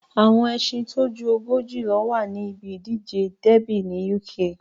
Àwọn ẹṣin tó ju ogójì ló wà ní ibi ìdíje dẹ́bì ní Uk